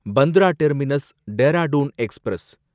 Bandra terminus Dehradun express